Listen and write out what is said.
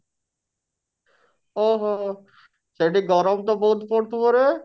ଓଃ ହୋ ସେଠି ଗରମ ତ ବହୁତ ପଡୁଥିବ ରେ?